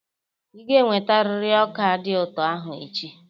Ị ga-ewetarịrị ọka dị ụtọ ahụ echi!